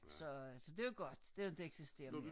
Så øh så var godt det inte eksisterer mere